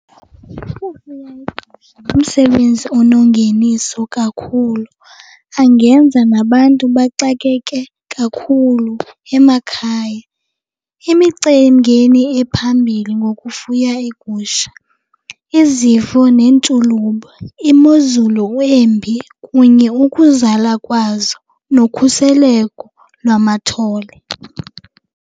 Ngumsebenzi onengeniso kakhulu, angenza nabantu baxakeke kakhulu emakhaya. Imicelimngeni ephambili ngokufuya iigusha, izifo neentshulube, imozulu embi kunye ukuzala kwazo nokhuseleko lwamathole.